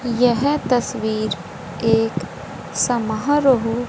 यह तस्वीर एक समहारोह --